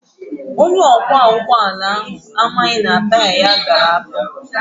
Onye ọkwọ ụgbọala ahụ amaghị na taya ya dara afọ.